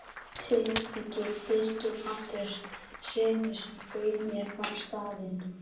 Tileinkað Birgi Andréssyni, sem bauð mér á staðinn.